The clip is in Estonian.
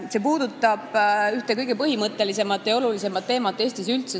See puudutab ühte kõige põhimõttelisemat ja olulisemat teemat Eestis üldse.